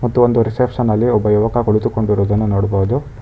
ಮತ್ತು ಒಂದು ರಿಸೆಪ್ಶನ್ ಅಲ್ಲಿ ಒಬ್ಬ ಯುವಕ ಕುಳಿತುಕೊಂಡಿರುವುದನ್ನು ನೋಡ್ಬೋದು.